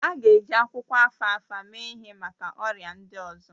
A ga-eji akwụkwọ alfalfa mee ihe maka ọrịa ndị ọzọ